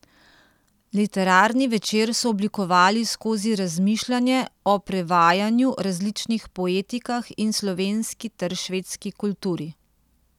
Literarni večer so oblikovali skozi razmišljanje o prevajanju, različnih poetikah in slovenski ter švedski kulturi.